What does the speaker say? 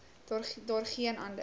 daar geen ander